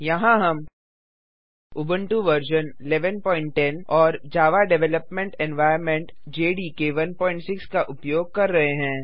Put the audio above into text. यहाँ हम उबंटु वर्जन 1110 और जावा डेवलपमेंट एनवायर्नमेंट जेडीके 16 का उपयोग कर रहे हैं